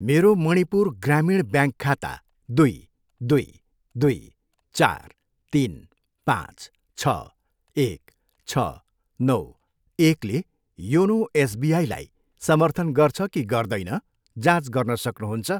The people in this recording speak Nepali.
मेरो मणिपुर ग्रामीण ब्याङ्क खाता दुई, दुई, दुई, चार, तिन, पाँच, छ, एक, छ, नौ, एकले योनो एसबिआईलाई समर्थन गर्छ कि गर्दैन, जाँच गर्न सक्नुहुन्छ?